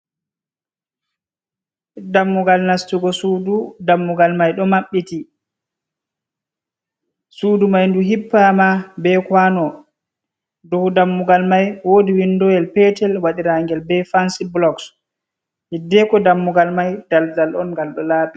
Dammugal nastugo sudu, dammugal mai ɗo maɓɓiti, sudu mai ndu hippama be kwano, do dammugal mai wodi windowel petel wadiragel be fansi bulok, hiddeko dammugal mai daldal on ngal ɗo labi.